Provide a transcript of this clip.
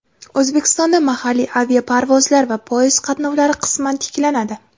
O‘zbekistonda mahalliy aviaparvozlar va poyezd qatnovlari qisman tiklanadi.